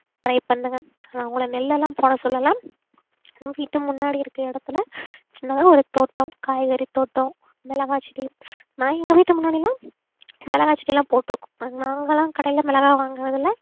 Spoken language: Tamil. try பண்ணுங்க நான் உங்களை நெல்லெல்லாம் போட சொல்லல வீட்டு முன்னாடி இருக்குற இடத்துல சின்னதா ஒரு தோட்டம் காய்கறி தோட்டம் மிளகாய் செடி நான் எங்க வீட்டு முன்னாடிலாம் மிளகாய் செடி எல்லாம் போட்டு இருக்கோம் நாங்க எல்லாம் கடையில மிளகாய் வாங்குறதுல